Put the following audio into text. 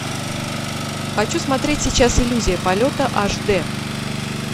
хочу смотреть сейчас иллюзия полета аш д